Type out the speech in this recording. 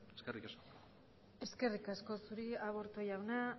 eskerrik asko eskerrik asko zuri aburto jauna